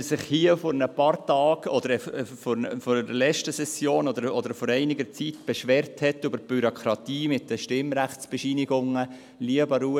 – Er hat sich hier vor ein paar Tagen oder während der letzten Session oder vor einiger Zeit über die Bürokratie im Zusammenhang mit den Stimmrechtsbescheinigungen beschwert: